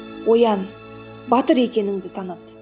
оян батыр екеніңді таныт